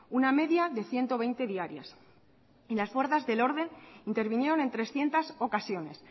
una media de ciento veinte diarias y las fuerzas del orden intervinieron en trescientos ocasiones